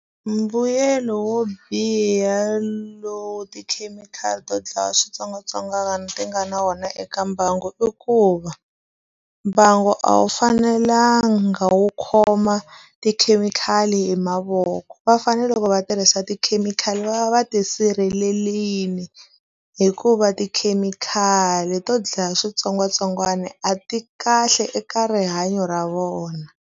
Mbuyelo wo biha lowu tikhemikhali to dlaya switsongwatsongwana ti nga na wona eka mbangu i ku va, mbangu a wu fanelanga wu khoma tikhemikhali hi mavoko. Va fanele loko va tirhisa tikhemikhali va va va ti sirhelerile, hikuva tikhemikhali to dlaya switsongwatsongwana a ti kahle eka rihanyo ra vona.